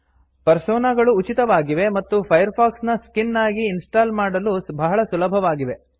persona ಗಳು ಉಚಿತವಾಗಿವೆ ಮತ್ತು ಫೈರ್ಫಾಕ್ಸ್ ನ ಸ್ಕಿನ್ ಆಗಿ ಇನ್ ಸ್ಟಾಲ್ ಮಾಡಲು ಬಹಳ ಸುಲಭವಾಗಿವೆ